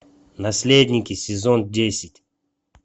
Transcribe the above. наследники сезон десять